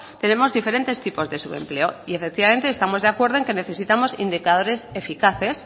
tenemos diferentes tipos de subempleo y efectivamente estamos de acuerdo en que necesitamos indicadores eficaces